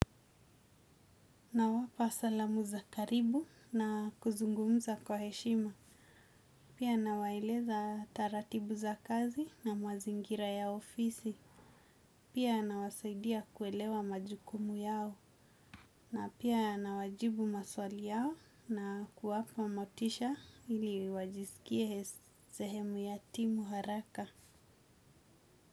Na wapa salamu za karibu na kuzungumza kwa heshima. Pia nawaeleza taratibu za kazi na mazingira ya ofisi. Pia nawasaidia kuelewa majukumu yao. Na pia nawajibu maswali yao na kuwapa motisha ili wajisikie zehemu ya timu haraka.